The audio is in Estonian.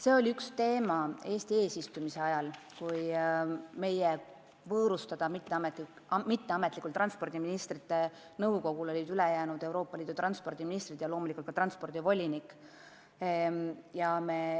See oli üks teema Eesti eesistumise ajal, kui meie võõrustada olid mitteametlikul transpordiministrite nõukogu kogunemisel ülejäänud Euroopa Liidu transpordiministrid ja loomulikult ka transpordivolinik.